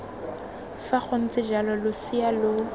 fa gontse jalo losea lo